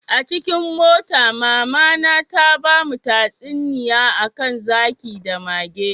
Acikin mota, mama my, ta bamu tatsuniya Akan zaki da mage.